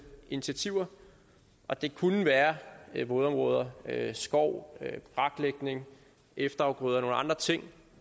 initiativer og det kunne være vådområder skov braklægning efterafgrøder og nogle andre ting